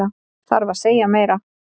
Þarf að segja meira?